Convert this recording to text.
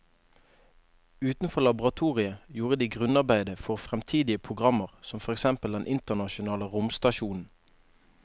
Utenfor laboratoriet gjorde de grunnarbeidet for fremtidige programmer som for eksempel den internasjonale romstasjonen.